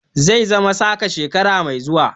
Zai zama saka shekara mai zuwa.